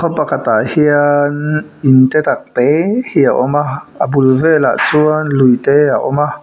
pakhatah hiaannn in te tak te hi a awm a a bul velah chuan lui te a awm a.